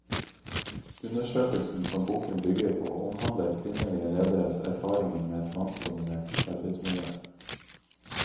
Undersøkelsen som boken bygger på, omhandler kvinnelige lederes erfaringer med et mannsdominert arbeidsmiljø.